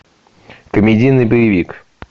комедийный боевик